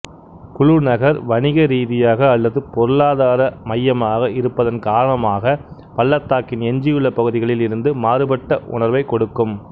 குலு நகர் வணிகரீதியாக அல்லது பொருளாதார மையமாக இருப்பதன் காரணமாக பள்ளத்தாக்கின் எஞ்சியுள்ள பகுதிகளில் இருந்து மாறுபட்ட உணர்வைக் கொடுக்கும்